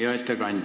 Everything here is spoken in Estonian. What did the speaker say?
Hea ettekandja!